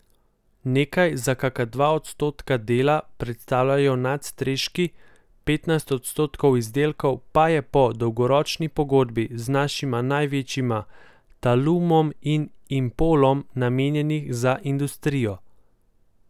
Nekaj, za kaka dva odstotka dela, predstavljajo nadstreški, petnajst odstotkov izdelkov pa je po dolgoročni pogodbi z našima največjima Talumom in Impolom namenjenih za industrijo.